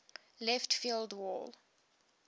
left field wall